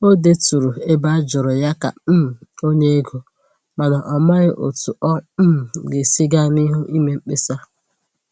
Ọ dèturu ebe a jụrụ̀ ya ka um o nye égo, mana ọ màghị etu ọ um ga-esi gaa n'ihu ime mkpesa.